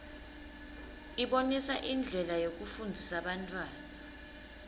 ibonisa indlela yekufundzisa bantfwana